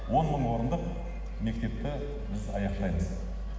он мың орындық мектепті біз аяқтаймыз